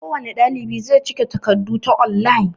kowane ɗalibi zai cike takardu ta online